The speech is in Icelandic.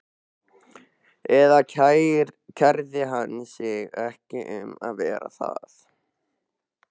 Eða kærði hann sig ekki um að vera það?